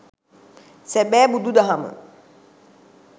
සැබෑ බුදු දහම